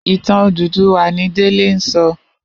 Itàn Ódúdúwà ni Dele n sò